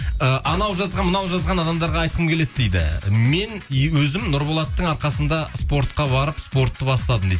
і анау жазған мынау жазған адамдарға айтқым келеді дейді мен өзім нұрболаттың арқасында спортқа барып спортты бастадым дейді